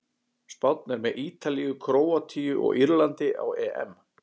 Spánn er með Ítalíu, Króatíu og Írlandi á EM.